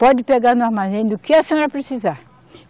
Pode pegar no armazém do que a senhora precisar.